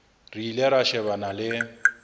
re ile ra shebana le